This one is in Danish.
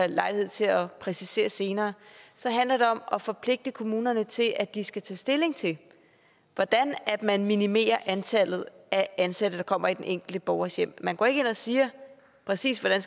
lejlighed til at præcisere senere så handler det om at forpligte kommunerne til at de skal tage stilling til hvordan man minimerer antallet af ansatte der kommer i den enkelte borgers hjem man går ikke ind og siger præcis hvordan